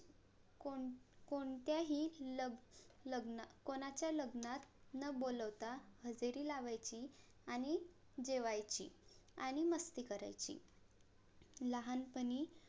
कोण कोणत्याहि लग~ लग्न~ कोणाच्या लग्नात न बोलावता हजेरी लावायची आणि जेवायची आणि मस्ती करायची लहानपणी.